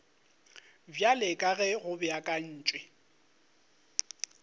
bjalo ka ge go beakantšwe